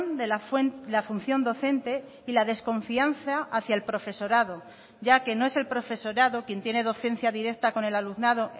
de la función docente y la desconfianza hacia el profesorado ya que no es el profesorado quien tiene docencia directa con el alumnado